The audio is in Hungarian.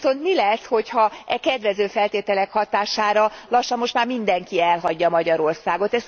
Viszont mi lesz, hogyha a kedvező feltételek hatására lassan most már mindenki elhagyja Magyarországot.